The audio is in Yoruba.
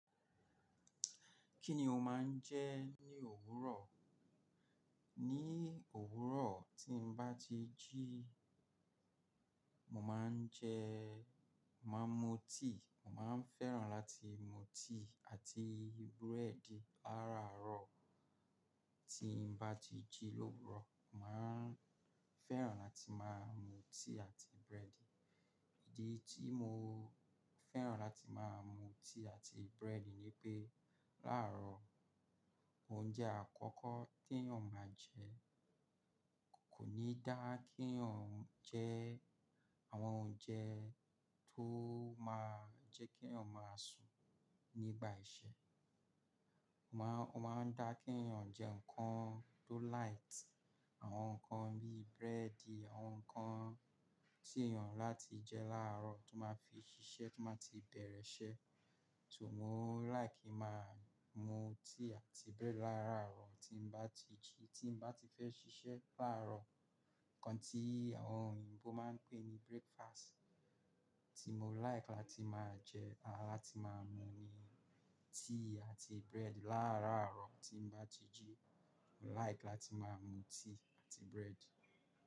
Kí ni o máa ń jẹ ní òwúrọ̀? Ní òwúrọ̀ tí n bá ti jí, mo máa ń jẹ́, máa ń mu tíì, mo máa ń fẹ́ràn láti mu tíì àti búrẹ́dì láàrárọ̀. Tí n bá ti jí l'òwúrò, màá ń fẹ́ràn láti máa mu tíì àti búrẹ́dì. Ìdí tí mo fẹ́ràn láti máa mu tíì àti búrẹ́dì ni pé láàárọ̀, oúnjẹ àkọ́kọ́ tí ènìyàn máa jẹ kò ní dá kí ènìyàn jẹ àwọn oúnjẹ tó máa jẹ́ kí ènìyàn máa sùn nígbà iṣẹ́. Ó máa ń dá kí ènìyàn jẹ nǹkan tó light. Àwọn nǹkan bíi búrẹ́dì, àwọn nǹkan tí ènìyàn láti jẹ láàárọ̀ tó máa fi ṣiṣẹ́, tó máa ti bẹ̀rẹ̀ iṣẹ́. So mo like máa mu tíì àti búrẹ́dì láàrárọ̀ tí n bá ti jí, tí n bá ti fẹ́ ṣiṣẹ́ láàárọ̀. Ǹkan tí àwọn òyìnbó máa ń pè ní breakfast. Tí mo like láti máa jẹ àti láti máa mu ni tíì àti búrẹ́dì. Láàárọ̀ tí n bá ti jí, mo like láti máa mu tíì àti búrẹ́dì.